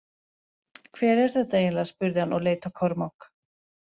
Hver er þetta eiginleg spurði hann og leit á Kormák.